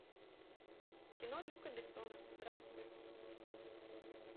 кино люка бессона здравствуй